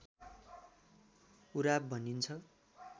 उराव भनिन्छ